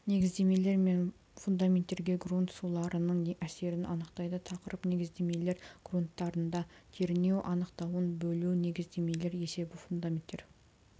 негіздемелер мен фундаменттерге грунт суларының әсерін анықтайды тақырып негіздемелер грунттарында кернеу анықтауын бөлу негіздемелер есебі фундаменттер